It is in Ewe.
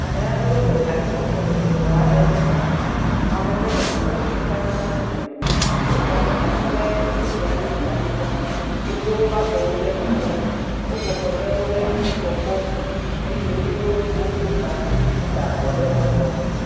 Ame aɖewo le anyinɔƒe le exɔ aɖe me, xɔa me ƒe nɔnɔme le sika ƒe nɔnɔme, wonɔ anyi ɖe nu dze aɖe dzi le anyigba. Wodo wobe afɔwo ɖe megbe, wobɔbɔ ɖe woƒe ŋgɔ kpɔm, eye wo ƒete woko ta, woda vɔ ɖe abɔ.